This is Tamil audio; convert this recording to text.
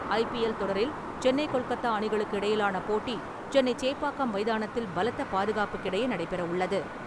ஐ பி எல் தொடரில் சென்னை கொல்கத்தா அணிகளுக்கு இடையிலான போட்டி சென்னை சேப்பாக்கம் மைதானத்தில் பலத்த பாதுகாப்புக்கு இடையே நடைபெறவுள்ளது.